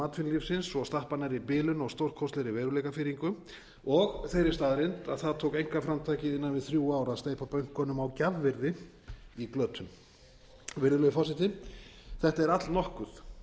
atvinnulífsins svo stappar nærri bilun og stórkostlegri veruleikafirringu og þeirri staðreynd að það tók einkaframtakið innan við þrjú ár að steypa bönkunum á gjafvirði í glötun virðulegi forseti þetta er allnokkuð